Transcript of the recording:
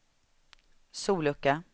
sollucka